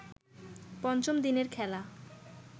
পঞ্চম দিনের খেলা